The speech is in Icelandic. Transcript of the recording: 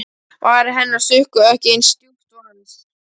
Varir hennar sukku ekki eins djúpt og hans.